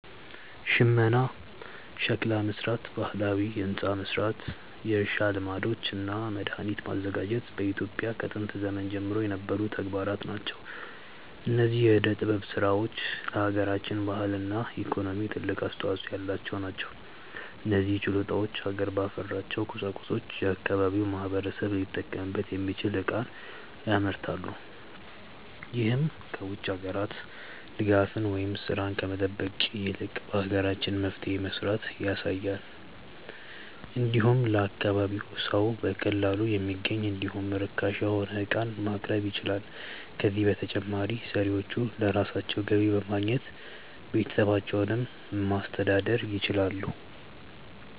ሽመና፣ ሸክላ መስራት፣ ባህላዊ ህንፃ መስራት፣ የእርሻ ልማዶች እና መድሃኒት ማዘጋጀት በኢትዮጵያ ከጥንት ዘመን ጀምሮ የነበሩ ተግባራት ናቸው። እነዚህ የዕደ ጥበብ ስራዎች ለሃገራችን ባህልና ኢኮኖሚ ትልቅ አስተዋጾ ያላቸው ናቸው። እነዚህ ችሎታዎች ሀገር ባፈራቸው ቁሳቁሶች የአካባቢው ማህበረሰብ ሊጠቀምበት የሚችል ዕቃን ያመርታሉ። ይህም ከ ውጭ ሀገራት ድጋፍን ወይም ስራን ከመጠበቅ ይልቅ በሀገራችን መፍትሄ መስራትን ያሳያል። እንዲሁም ለአካባቢው ሰው በቀላሉ የሚገኝ እንዲሁም ርካሽ የሆነ ዕቃንም ማቅረብ ይችላሉ። ከዛም በተጨማሪ ሰሪዎቹ ለራሳቸው ገቢ በማግኘት ቤተሰባቸውን ማስተዳደር ይችላሉ።